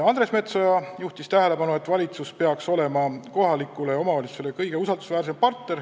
Andres Metsoja juhtis tähelepanu, et valitsus peaks olema kohaliku omavalitsuse kõige usaldusväärsem partner.